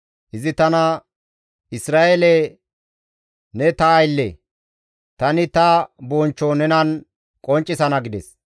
Izi tana, «Isra7eele ne ta aylle, tani ta bonchcho nenan qonccisana» gides.